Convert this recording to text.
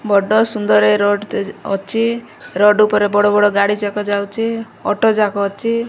ବଡ଼ ସୁନ୍ଦର ଏ ରୋଡ଼ ତେଜ୍ ଅଛି ରୋଡ଼ ଉପରେ ବଡ଼-ବଡ଼ ଗଡି ଯାକ ଯାଉଚି ଅଟ ଯାକ ଆଚି --